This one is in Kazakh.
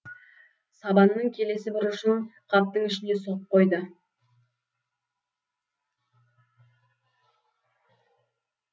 сабанның келесі бір ұшын қаптың ішіне сұғып қойды